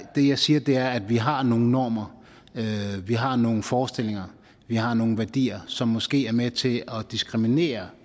det jeg siger er at vi har nogle normer at vi har nogle forestillinger at vi har nogle værdier som måske er med til at diskriminere